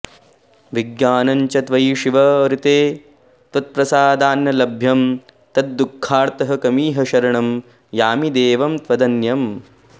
विज्ञानं च त्वयि शिव ऋते त्वत्प्रसादान्न लभ्यं तद्दुःखार्तः कमिह शरणं यामि देवं त्वदन्यम्